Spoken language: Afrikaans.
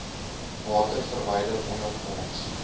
water verwyder ondergronds